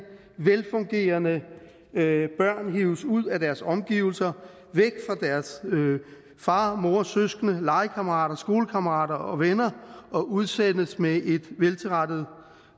velfungerende børn hives ud af deres omgivelser væk fra deres far mor søskende legekammerater skolekammerater og venner og udsendes med et veltilrettet